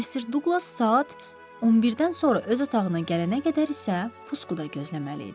Mister Duqlas saat 11-dən sonra öz otağına gələnə qədər isə puskuda gözləməli idi.